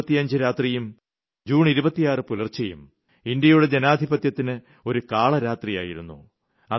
June 25 രാത്രിയും June 26 പുലർച്ചയും ഇന്ത്യയുടെ ജനാധിപത്യത്തിന് ഒരു കാളരാത്രിയായിരുന്നു